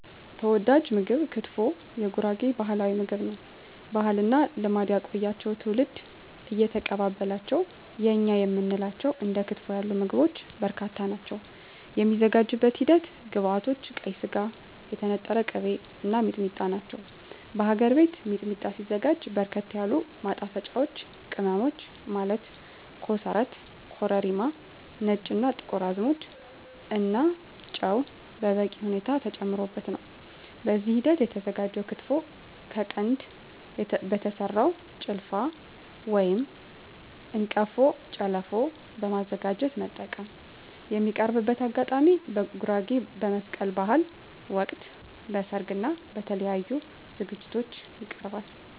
ተወዳጅ ምግብ ክትፎ የጉራጌ ባህላዊ ምግብ ነው። ባህልና ልማድ ያቆያቸው ትውልድ እየተቀባበላቸው የእኛ የምንላቸው እንደ ክትፎ ያሉ ምግቦች በርካታ ናቸው። የሚዘጋጅበት ሂደት ግብዐቶች ቀይ ስጋ, የተነጠረ ቅቤ , እና ሚጥሚጣ ናቸው። በሀገር ቤት ሚጥሚጣ ሲዘጋጅ በርከት ያሉ ማጣፈጫወች ቅመሞች ማለት ኮሰረት , ኮረሪማ , ነጭ እና ጥቁር አዝሙድ እና ጨው በበቂ ሁኔታ ተጨምሮበት ነው። በዚህ ሂደት የተዘጋጀው ክትፎ ከቀንድ በተሰራው ጭልፋ/አንቀፎ ጨለፎ በማዘጋጀት መጠቀም። የሚቀርብበት አጋጣሚ በጉራጌ በመስቀል በሀል ወቅት, በሰርግ እና በተለያዪ ዝግጅቶች ይቀርባል።።